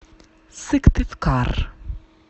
сыктывкар